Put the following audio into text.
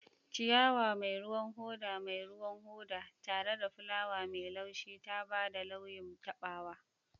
Ciyawa mai ruwan hoda mai ruwan hoda, tare da fulawa mai laushi, ta ba da kyawun taɓawa.